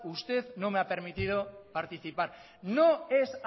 ustedno me ha permitido participar no es